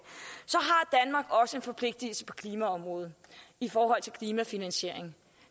så forpligtelse på klimaområdet i forhold til klimafinansieringen